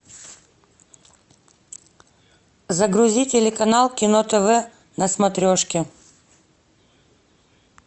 загрузи телеканал кино тв на смотрешке